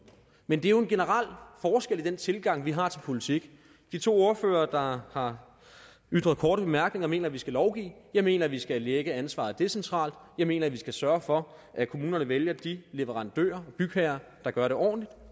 men det er jo en generel forskel i den tilgang vi har til politik de to ordførere der har har ytret korte bemærkninger mener vi skal lovgive jeg mener at vi skal lægge ansvaret decentralt jeg mener at vi skal sørge for at kommunerne vælger de leverandører og bygherrer der gør det ordentligt